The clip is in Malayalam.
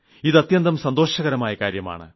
ഇത് അത്യന്തം സന്തോഷകരമായ കാര്യമാണ്